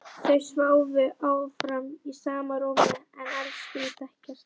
Þau sváfu áfram í sama rúmi en elskuðust ekki.